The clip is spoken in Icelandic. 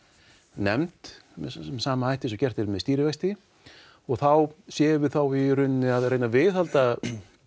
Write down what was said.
nefnd með sama hætti og gert er með stýrivexti og þá séum við í rauninni að reyna að viðhalda